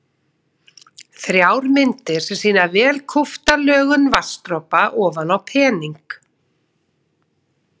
Þrjár myndir sem sýna vel kúpta lögun vatnsdropa ofan á pening.